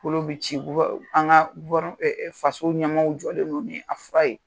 Olu bi ci an ka faso ɲɛmɔw jɔlen don ni a fura ye.